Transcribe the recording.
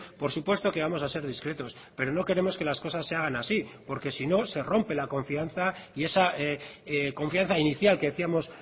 por supuesto que vamos a ser discretos pero no queremos que las cosas se hagan así porque si no se rompe la confianza y esa confianza inicial que decíamos